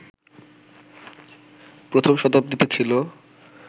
প্রথম শতাব্দীতে ছিল